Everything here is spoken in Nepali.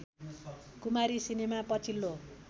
कुमारी सिनेमा पछिल्लो